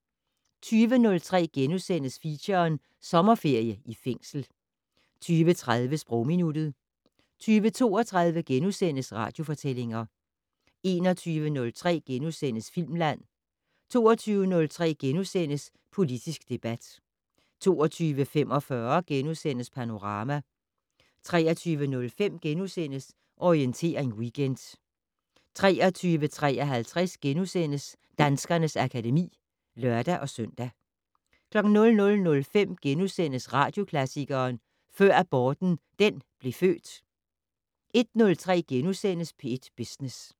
20:03: Feature: Sommerferie i fængsel * 20:30: Sprogminuttet 20:32: Radiofortællinger * 21:03: Filmland * 22:03: Politisk debat * 22:45: Panorama * 23:05: Orientering Weekend * 23:53: Danskernes akademi *(lør-søn) 00:05: Radioklassikeren: Før aborten den blev født * 01:03: P1 Business *